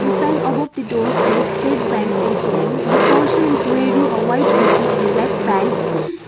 this sign above the door says state bank A_T_M the person is wearing a white hoodie and black pants.